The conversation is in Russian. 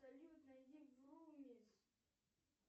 салют найди врумиз